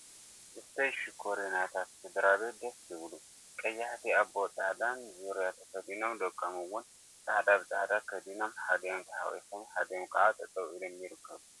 እሰይ ሽኮሪናታት ስድራቤት ደስ ክብሉ! ቀያሕቲ አቦን አዶን ፃዕዳ ዙርያ ተከዲኖም ደቆም እውን ፃዕዳ ብፃዕዳ ከዲኖም ሓዲኦም ተሓቍፎም ሓዲኦም ከዓ ጠጠው ኢሎም ይርከቡ፡፡